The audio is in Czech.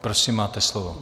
Prosím, máte slovo.